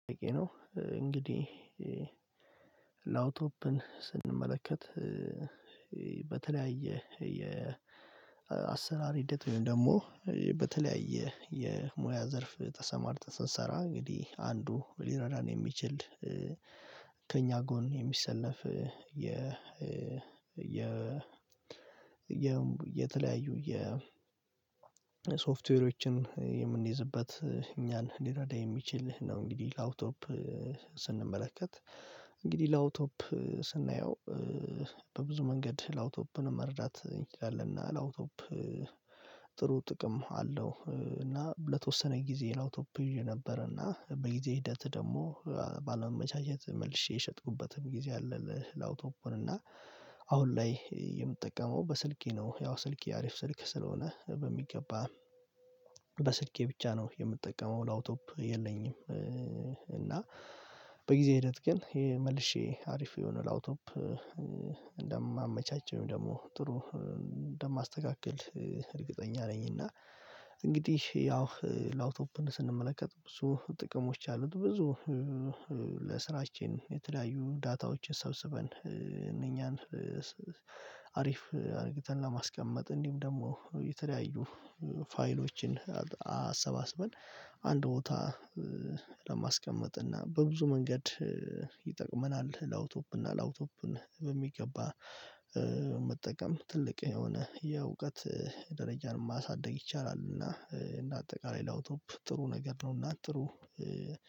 ጥያቄ ነው፣ እንግዲህ ላውቶፕን ስንመለከት በተለያየ የአሰራር ሂደት ወይም ደግሞ በተለያየ የሙያ ዘርፍ ተሰማርተን ስንሰራ እንግዲህ አንዱ ሊረዳን የሚችል ከእኛ ጎን የሚሰለፍ የ የ የተለያዩ የ ሶፍትዌሮችን የምንይዝበት እኛን ሊረዳ የሚችል ህ ነው እንግዲህ ላፕቶፕ ስንመለከት። እንግዲህ ላውቶፕ ስናየው በብዙ መንገድ ላውቶፕን መረዳት ይችላል። እና ላውቶፕ ጥሩ ጥቅም አለው እና ለተወሰነ ጊዜ ላውቶፕ ይዤ ነበር፤ እና በጊዜ ሂደት ደግሞ ባለመመቻቸት መልሼ የሸጥኩበትም ጊዜ አለ ላውቶፖን፤ እና አሁን ላይ የምጠቀመው በስልኬ ነው። ያው ስልኬ አሪፍ ስልክ ስለሆነ በሚገባ በስልኬ ብቻ ነው የምጠቀመው ላውቶፕ የለኝም። እና በጊዜ ሂደት ግን ይሄ መልሼ አሪፍ የሆነ ላውቶፕ እንደማመቻች፤ ወይም ደግሞ ጥሩ እንደማስተካክል እርግጠኛ ነኝ። እና እንግዲህ ያው ላውቶፕን ስንመለከት ብዙ ጥቅሞች አሉት። ብዙ ለስራችን የተለያዩ ዳታዎችን ሰብስበን፤ እነኛን አሪፍ አድርግተን ለማስቀመጥ። እንዲሁም ደግሞ የተለያዩ ፋይሎችን አሰባስበን አንድ ቦታ ለማስቀመጥ፤ እና በብዙ መንገድ ይጠቅመናል። ላውቶፕ እና ላውቶፕን በሚገባ መጠቀም ትልቅ የሆነ የእውቀት ደረጃን ማሳደግ ይቻላል። እና እንደ አጠቃላይ ላውቶፕል ጥሩ ነገር ነው፤ እና ጥሩ